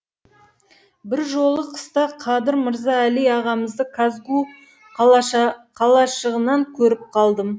бір жолы қыста қадыр мырза әли ағамызды казгу қалашығынан көріп қалдым